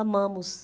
Amamos.